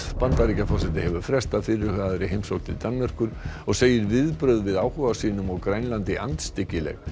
Bandaríkjaforseti hefur frestað fyrirhugaðri heimsókn til Danmerkur og segir viðbrögð við áhuga sínum á Grænlandi andstyggileg